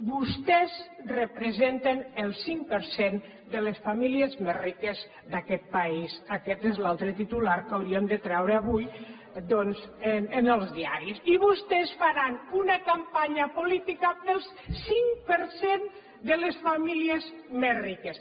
vostès representen el cinc per cent de les famílies més riques d’aquest país aquest és l’altre titular que hauríem de treure avui doncs els diaris i vostès faran una campanya política per al cinc per cent de les famílies més riques